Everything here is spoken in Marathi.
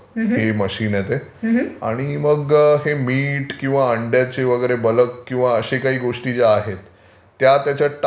हे मशीन आहे ते आणि मग हे मीट किंवा हे अंड्याचे ब्लॅक किंवा जे असे काही गोष्टी ज्या आहेत त्या त्याच्यात टाकल्या कि त्याचं कंपोस्ट तयार केलं जातं.